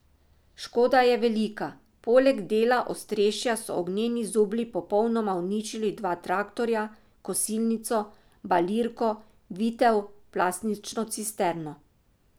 Škoda je velika, poleg dela ostrešja so ognjeni zublji popolnoma uničili dva traktorja, kosilnico, balirko, vitel, plastično cisterno.